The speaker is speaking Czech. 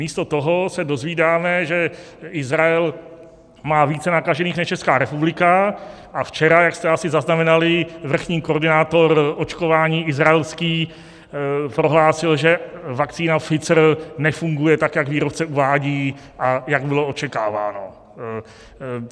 Místo toho se dozvídáme, že Izrael má více nakažených než Česká republika, a včera, jak jste asi zaznamenali, vrchní koordinátor očkování izraelský prohlásil, že vakcína Pfizer nefunguje tak, jak výrobce uvádí a jak bylo očekáváno.